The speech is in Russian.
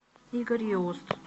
игорь иост